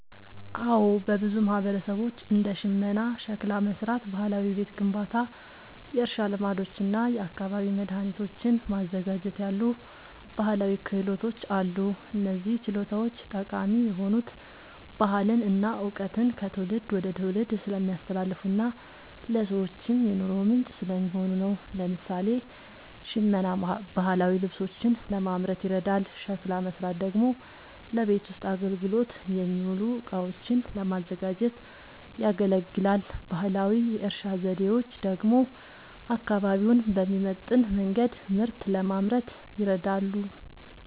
አዎ፣ በብዙ ማህበረሰቦች እንደ ሽመና፣ ሸክላ መሥራት፣ ባህላዊ ቤት ግንባታ፣ የእርሻ ልማዶች እና የአካባቢ መድኃኒቶችን ማዘጋጀት ያሉ ባህላዊ ክህሎቶች አሉ። እነዚህ ችሎታዎች ጠቃሚ የሆኑት ባህልን እና እውቀትን ከትውልድ ወደ ትውልድ ስለሚያስተላልፉና ለሰዎችም የኑሮ ምንጭ ስለሚሆኑ ነው። ለምሳሌ፣ ሽመና ባህላዊ ልብሶችን ለማምረት ይረዳል፤ ሸክላ መሥራት ደግሞ ለቤት ውስጥ አገልግሎት የሚውሉ እቃዎችን ለማዘጋጀት ያገለግላል። ባህላዊ የእርሻ ዘዴዎች ደግሞ አካባቢውን በሚመጥን መንገድ ምርት ለማምረት ይረዳሉ።